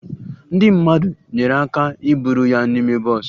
Ndị mmadụ nyeere aka iburu ya n'ime bọs